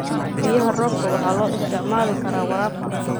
Biyaha roobka waxaa loo isticmaali karaa waraabka.